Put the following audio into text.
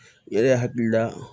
Ne yɛrɛ hakili la